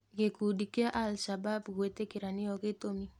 Gĩkundi kĩa al-shabab gwĩtĩkĩra nĩo gĩtũmi.